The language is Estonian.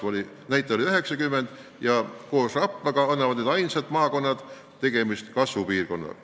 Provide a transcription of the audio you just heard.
Tartu näitaja oli 90% ja koos Rapla maakonnaga on need ainsad maakonnad, mille näol on tegemist kasvupiirkonnaga.